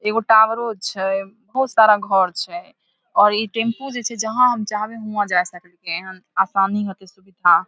एगो टॉवरो छै बहुत सारा घर छै और ई टैम्पू जे छै जहाँ हम जावे उहवाँ जा सके आसानी होती सुविधा।